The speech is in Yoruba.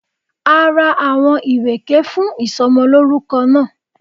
A ra áwọn ìrèké fún ìsomolórúko náà